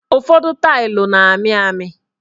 Ụfọdụ tailu na-amị amị